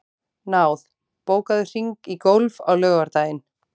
Náð, bókaðu hring í golf á laugardaginn.